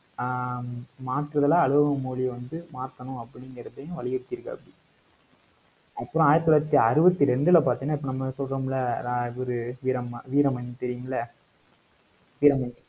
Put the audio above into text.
ஆஹ் அலுவல் மொழி வந்து மாத்தணும் அப்படிங்கிறதையும் வலியுறுத்திருக்காப்பிடி அப்புறம் ஆயிரத்தி தொள்ளாயிரத்தி அறுபத்தி ரெண்டுல பாத்தீங்கன்னா இப்ப நம்ம சொல்றோம்ல இவரு வீரம்ம~ வீரமணி தெரியுமில்ல வீரமணி